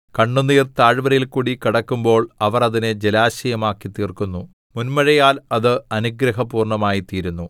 കണ്ണുനീർ താഴ്വരയിൽകൂടി കടക്കുമ്പോൾ അവർ അതിനെ ജലാശയമാക്കിത്തീർക്കുന്നു മുന്മഴയാൽ അത് അനുഗ്രഹപൂർണ്ണമായിത്തീരുന്നു